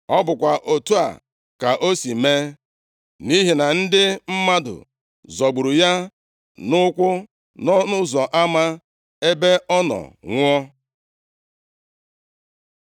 Ọ bụkwa otu a ka o si mee, nʼihi na ndị mmadụ zọgburu ya nʼụkwụ nʼọnụ ụzọ ama, ebe ọ nọ nwụọ.